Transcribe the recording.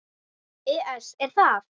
ES Er það?